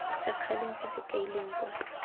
sekgaleng se se kailweng kwa